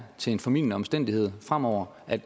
til en formildende omstændighed fremover er